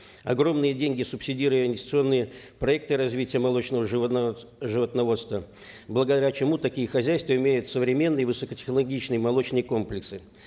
огромные деньги субсидируя инвестиционные проекты развития молочного животноводства благодаря чему такие хозяйства имеют современные высокотехнологичные молочные комплексы